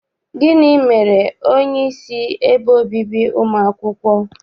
Gịnị mere onyeisi ebe obibi ụmụ akwụkwọ?